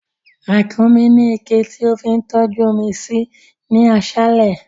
Rákúnmí ní iké tí ó fi ń tọ́jú omi sí ní aṣálẹ̀